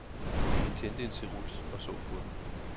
Han tændte en cerut og så på den.